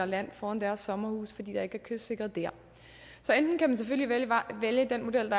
land foran deres sommerhuse fordi der ikke er kystsikret dér så enten kan man selvfølgelig vælge modellen